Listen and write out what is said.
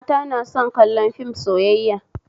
Mata na son kallon fim sayayya